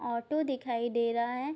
Auto दिखाई दे रहा है।